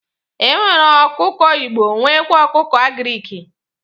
E nwere ọkụkọ igbo nwekwa ọkụkọ agiriki.